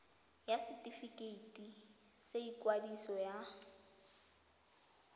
ya setefikeiti sa ikwadiso ya